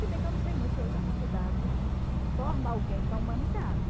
Se bem que eu não sei muito se hoje a faculdade forma alguém para a humanidade.